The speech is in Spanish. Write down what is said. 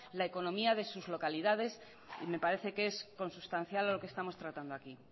la economía de sus localidades y me parece que es consustancial lo que estamos tratando aquí